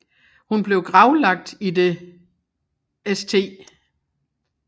Hun blev gravlagt i det St